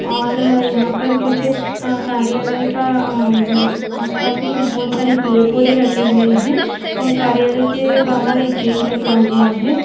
और यहाँ पर कुछ कार्यालय का आ-उम्म आस पास मे कुछ बहुत सारे पेड़ पोधे लगे हुये है और कार्यालय के बाहर एक गेट लगा हुआ है।